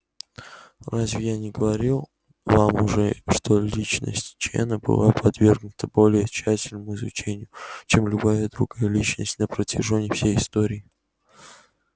разве я не говорил вам уже что личность чена была подвергнута более тщательному изучению чем любая другая личность на протяжении всей истории